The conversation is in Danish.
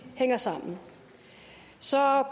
hænger sammen så